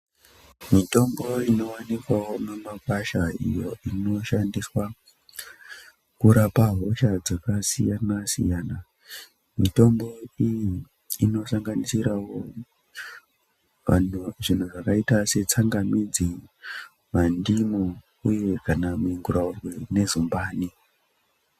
Mitombo inowanikwawo mimakwasha iyo inoshandiswa kurapa hosha dzakasiyana-siyana, Mitombo iyi inosanganisiravo mhando dzaita setsangamidzi, mandimu uye kana minguraurwe nezumbani.